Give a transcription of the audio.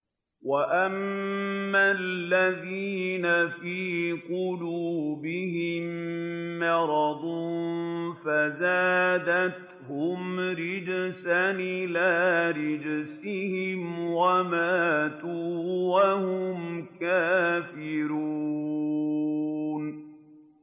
وَأَمَّا الَّذِينَ فِي قُلُوبِهِم مَّرَضٌ فَزَادَتْهُمْ رِجْسًا إِلَىٰ رِجْسِهِمْ وَمَاتُوا وَهُمْ كَافِرُونَ